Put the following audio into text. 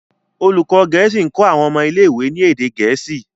olùkó gèésì nkọ àwọn ọmọ ilé ìwé ní èdè gèésì.